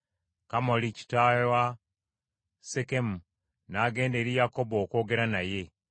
Kamoli kitaawe wa Sekemu n’agenda eri Yakobo okwogera naye.